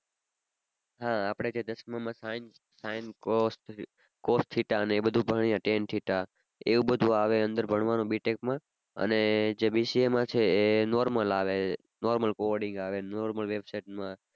હા આપણે કઈ દસમાં માં sin sin cos cos theta ને એ બધુ ભણ્યા ten theta એ બધુ આવે અંદર ભણવાનું B Tech માં અને જે BCA માં છે એ normal આવે normal coding આવે ને normal website માં